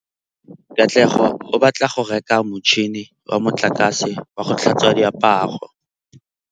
Katlego o batla go reka motšhine wa motlakase wa go tlhatswa diaparo.